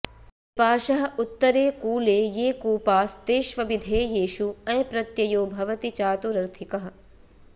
विपाशः उत्तरे कूले ये कूपास्तेष्वभिधेयेषु अञ् प्रत्ययो भवति चातुरर्थिकः